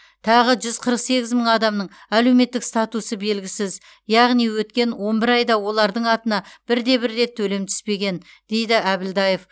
тағы жүз қырық сегіз мың адамның әлеуметтік статусы белгісіз яғни өткен он бір айда олардың атына бірде бір рет төлем түспеген дейді әбілдаев